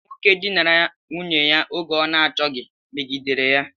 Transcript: Nwoke dinara nwunye ya oge ọ n'achoghi megidere ya.